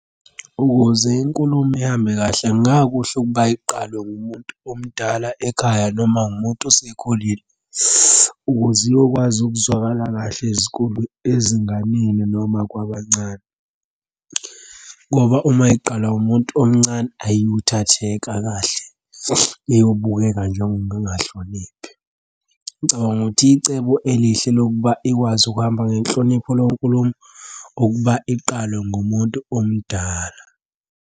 Ukuze inkulumo ihambe kahle, kungakuhle ukuba iqalwe ngumuntu omdala ekhaya noma umuntu osekhulile, ukuze iyokwazi ukuzwakala kahle ezinganeni noma kwabancane, ngoba uma iqalwa umuntu omncane ayikuthatheka kahle, uyobukela njengomuntu ongahloniphi. Ngicabanga ukuthi icebo elihle lokuba ikwazi ukuhamba ngenhlonipho leyo nkulumo ukuba iqalwe ngumuntu omdala.